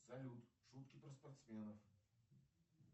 салют шутки про спортсменов